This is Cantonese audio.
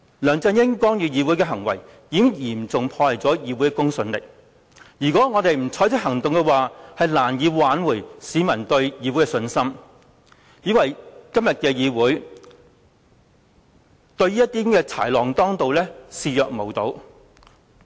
梁振英干預議會的行為，已經嚴重破壞議會的公信力，如果我們不採取行動，將難以挽回市民對議會的信心，以為今天的議會對於豺狼當道的情況已視若無睹。